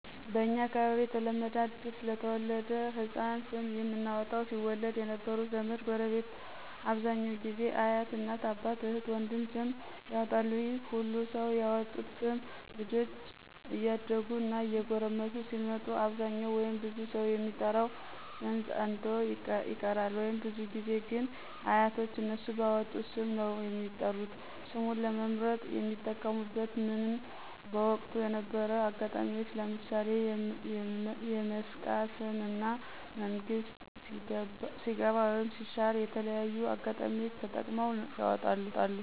በእንኛ አካባቢ የተለመደ አዲስ ለተወለደ ሕፃን ስም የምናወጣው ሲወለድ የነበሩ ዘመድ፣ ጎረቤት አብዛኛው ጊዜ አያት፣ እናት፣ አባት፣ እህት፣ ወንድም ስም ያወጣሉ ይህ ሁሉ ሰው ያወጡት ስም ልጆች እያደጉ እና እየጎረመሱ ሲመጡ አብዛኛው ወይም ብዙ ሰው የሚጠራው ስም ፀንቶ ይቀራል ወይም። ብዙ ጊዜ ግን አያቶች እነሱ ባወጡት ስም ነው የሚጠሩት። ስሙን ለመምርጥ የሚጠቀሙብት ምንግ በወቅቱ የነበሩ አጋጣሚዎች ለምሣሌ የመስቃ ስም እና መንግስት ሲገባ ወይም ሲሻር የተለያዩ አጋጣሚዎች ተጠቅመው ያወጣሉ።